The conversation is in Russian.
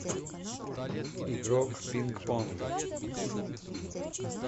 игрок пинг понга